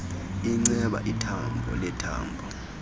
inceba ithambo lethambo